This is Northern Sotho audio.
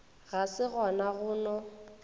ga se gona go no